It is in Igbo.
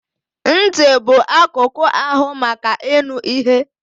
Ntị bụ akụkụ ahụ maka ịnụ ihe.